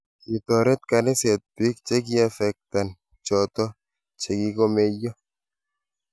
Kitoret kaniset biik chikiaffecten choto chikikakomeiyo